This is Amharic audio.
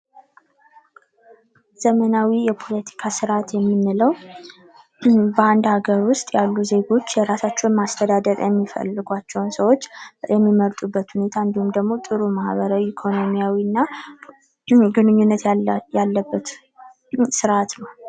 ዘመናዊ የፖለቲካ ስርዓት የምንለው ብዙ በአንድ ሀገር ውስጥ ያሉ ዜጎች የራሳቸውን ማስተዳደር የሚፈልጓቸውን ሰዎች የሚመርጡበት ሁኔታ እንዲሁም ደግሞ ጥሩ ማኅበራዊ ኢኮኖሚያዊ እና ግንኙነት ያለበት ስርአት ነው ።